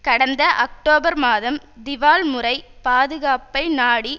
கடந்த அக்டோபர் மாதம் திவால் முறை பாதுகாப்பை நாடி